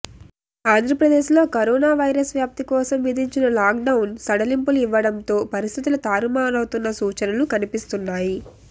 ఆంధ్రప్రదేశ్ లో corona virus వ్యాప్తి కోసం విధించిన లాక్ డౌన్ సడలింపులు ఇవ్వడంతో పరిస్ధితులు తారుమారవుతున్న సూచనలు కనిపిస్తున్నాయి